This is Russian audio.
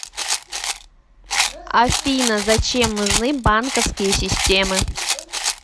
афина зачем нужны банковские системы